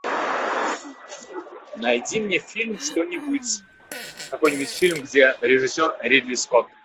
найди мне фильм что нибудь какой нибудь фильм где режиссер ридли скотт